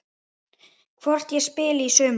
Hvort ég spili í sumar?